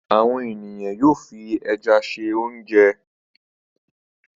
Àwọn ènìyàn yóò fi ẹja se oúnjẹ.